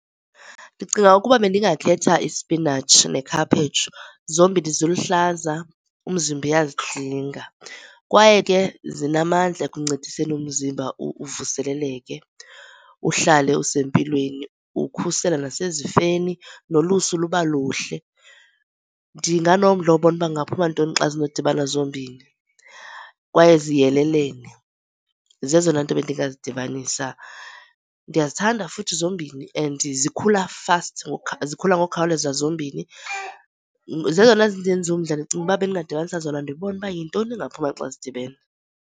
Ndicinga ukuba bendingakhetha ispinatshi nekhaphetshu. Zombini ziluhlaza umzimba uyazidinga, kwaye ke zinamandla ekuncediseni umzimba uvuseleleke uhlale usempilweni, ukhusela nasezifeni nolusu luba luhle. Ndinganomdla wobona ukuba kungangaphuma ntoni xa zinokudibana zombini, kwaye ziyelelene. Zezona nto bendingazidibanisa. Ndiyazithanda futhi zombini and zikhula fast zikhula ngokukhawuleza zombini. Zezona zindenza umdla ndicinga ukuba bendingadibanisa zona ndibone ukuba yintoni engaphuma xa zidibene.